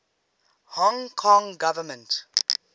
hong kong government